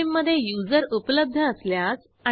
येथे संबंधित इद साठी उपलब्ध प्रतींची संख्या मिळेल